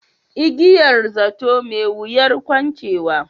Igiyar zato, mai wuyar kuncewa.